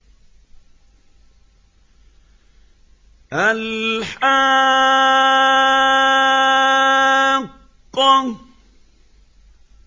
الْحَاقَّةُ